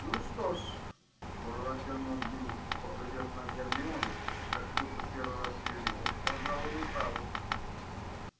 ну что ж протянул бинс поглядев на гермиону как будто первый раз её видел пожалуй вы правы